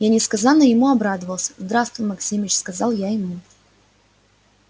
я несказанно ему обрадовался здравствуй максимыч сказал я ему